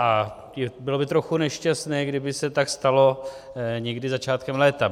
A bylo by trochu nešťastné, kdyby se tak stalo někdy začátkem léta.